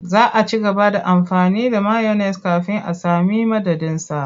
Za a ci gaba da amfani da mayones kafin a sami madadinsa.